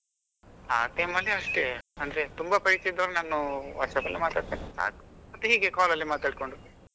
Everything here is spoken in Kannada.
ಆ time ಅಲ್ಲಿ ಅಷ್ಟೇ ಅಂದ್ರೆ ತುಂಬಾ ಪೈಕಿ ಇದು ನಾನು WhatsApp ಅಲ್ಲಿ ಮಾತಾಡ್ತೇನೆ ಸಾಕು ಮತ್ತೆ ಹೀಗೆ call ಅಲ್ಲಿ ಮಾತಾಡ್ಕೊಂಡು.